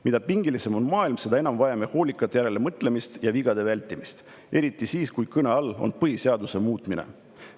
Mida pingelisem on maailm, seda enam vajame hoolikat järelemõtlemist ja vigade vältimist – eriti siis, kui kõne all on põhiseaduse muutmine.